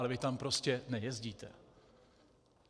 Ale vy tam prostě nejezdíte.